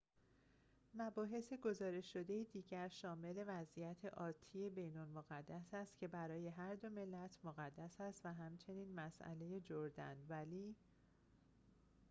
مباحث گزارش شده دیگر شامل وضعیت آتی بیت المقدس است که برای هر دو ملت مقدس است و همچنین مسئله جردن ولی